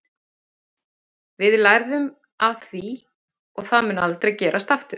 Við lærðum af því og það mun aldrei gerast aftur.